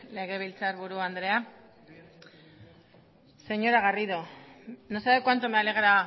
legebiltzarburu andrea señora garrido no sabe cuánto me alegra